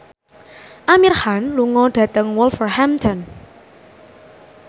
Amir Khan lunga dhateng Wolverhampton